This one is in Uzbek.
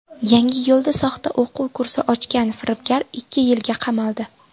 Yangiyo‘lda soxta o‘quv kursi ochgan firibgar ikki yilga qamaldi.